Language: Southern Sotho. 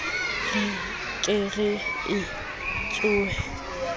re ke re e tshohle